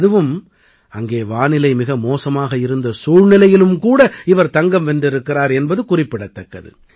அதுவும் அங்கே வானிலை மிக மோசமாக இருந்த சூழ்நிலையிலும் கூட இவர் தங்கம் வென்றிருக்கிறார் என்பது குறிப்பிடத்தக்கது